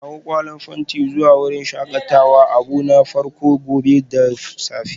Kawo ƙwallan fenti zuwa wurin shakatawa abu na farko gobe da safe